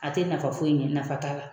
A te nafa foyi ɲɛ .Nafa t'a la.